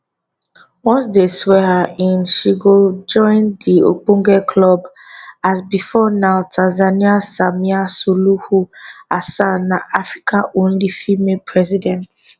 once dey swear her in she go join di ogbonge club as before now tanzania samia suluhu hassan na africa only female president